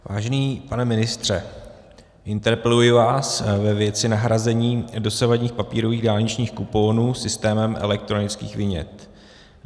Vážený pane ministře, interpeluji vás ve věci nahrazení dosavadních papírových dálničních kuponů systémem elektronických vinět.